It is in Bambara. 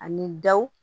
Ani daw